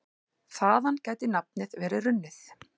Þaðan gæti nafnið verið runnið.